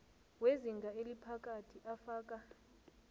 wezinga eliphakathi afaka